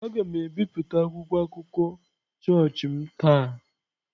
Aga m ebipụta akwụkwọ akụkọ chọọchị m taa.